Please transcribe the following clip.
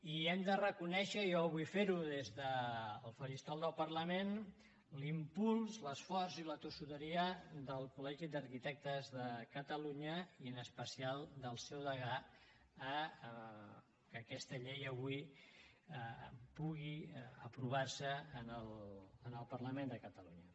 i hem de reconèixer i jo vull fer ho des del faristol del parlament l’impuls l’esforç i la tossuderia del col·legi d’arquitectes de catalunya i en especial del seu degà perquè aquesta llei avui pugui aprovar se en el parlament de catalunya